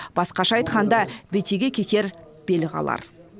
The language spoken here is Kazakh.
басқаша айтқанда бетеге кетер бел қалар